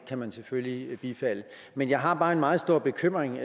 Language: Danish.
kan man selvfølgelig bifalde men jeg har bare en meget stor bekymring